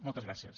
moltes gràcies